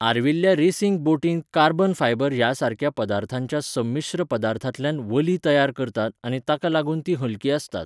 आर्विल्ल्या रेसींग बोटींत carbon fibre ह्या सारक्या पदार्थांच्या समीश्र पदार्थांतल्यान वल्हीं तयार करतात आनी ताका लागून तीं हलकीं आसतात.